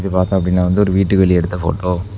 இத பாத்தோ அப்படின்னா வந்து ஒரு வீட்டுக்கு வெளிய எடுத்த போட்டோ .